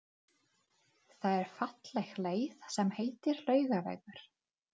Það er falleg leið sem heitir Laugavegur.